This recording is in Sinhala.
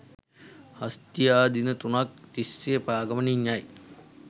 හස්තියා දින තුනක් තිස්සේ පා ගමනින් යයි.